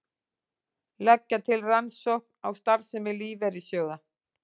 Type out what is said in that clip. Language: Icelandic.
Leggja til rannsókn á starfsemi lífeyrissjóða